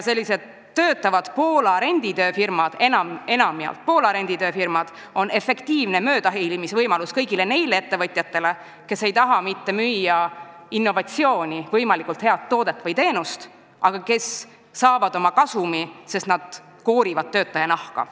Sellised töötavad renditööfirmad, enamjaolt Poola omad, on efektiivne möödahiilimisvõimalus kõigile neile ettevõtjatele, kes ei taha mitte müüa innovatsiooni, võimalikult head toodet või teenust, vaid saavad oma kasumi sellest, et nad koorivad töötaja nahka.